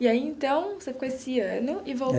E aí, então, você ficou esse ano e